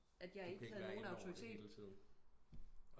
At jeg ikke havde nogen autoritet